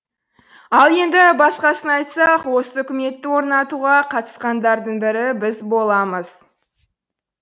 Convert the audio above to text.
ал енді басқасын айтсақ осы үкіметті орнатуға қатысқандардың бірі біз боламыз